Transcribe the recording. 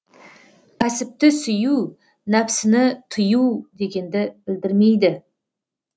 кәсіпті сүю нәпсіні тыю дегенді білдірмейді